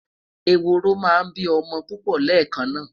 eworo má n bi omo pupo lekan na